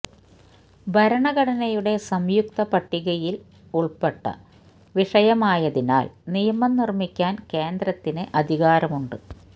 ഭരണഘടനയുടെ സംയുക്ത പട്ടികയില് ഉള്പ്പെട്ട വിഷയമായതിനാല് നിയമം നിര്മ്മിക്കാന് കേന്ദ്രത്തിന് അധികാരമുണ്ട്